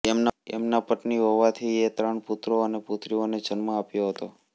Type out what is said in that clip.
એમનાં પત્ની હવોવીથીએ ત્રણ પુત્રો અને પુત્રીઓને જન્મ આપ્યો હતો